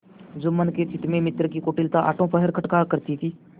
जुम्मन के चित्त में मित्र की कुटिलता आठों पहर खटका करती थी